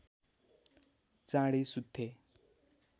चाँडै सुत्थे